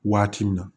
Waati min na